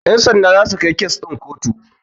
Ƴan sanda zasu kai kes ɗin ku kotu.